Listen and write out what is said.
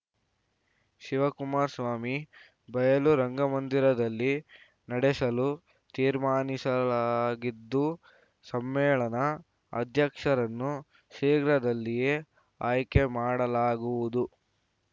ಶಿವಕುಮಾರಸ್ವಾಮಿ ಬಯಲು ರಂಗಮಂದಿರದಲ್ಲಿ ನಡೆಸಲು ತೀರ್ಮಾನಿಸಲಾಗಿದ್ದು ಸಮ್ಮೇಳನ ಅಧ್ಯಕ್ಷರನ್ನು ಶೀಘ್ರದಲ್ಲಿಯೇ ಆಯ್ಕೆ ಮಾಡಲಾಗುವುದು